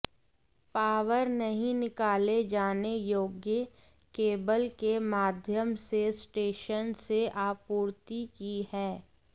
power नहीं निकाले जाने योग्य केबल के माध्यम से स्टेशन से आपूर्ति की है